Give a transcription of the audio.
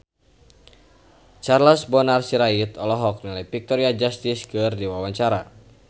Charles Bonar Sirait olohok ningali Victoria Justice keur diwawancara